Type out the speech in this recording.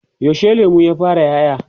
yaushe lemun ya fara ƴaƴa?